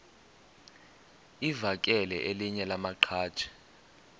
livakele elinye lamaqhaji